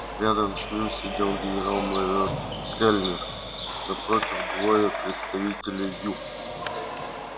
рядом с ним сидел генерал-майор кэллнер напротив двое представителей ю